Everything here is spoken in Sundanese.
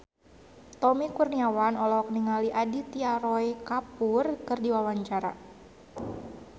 Tommy Kurniawan olohok ningali Aditya Roy Kapoor keur diwawancara